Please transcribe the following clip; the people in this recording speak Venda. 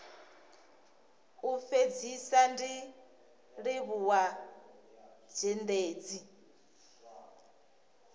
u fhedzisa ndi livhuwa zhendedzi